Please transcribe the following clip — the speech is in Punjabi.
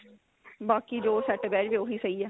ਬਾਕੀ ਜੋ set ਬਿਹ ਜਾਵੇ ਉਹੀ ਸਹੀ ਏ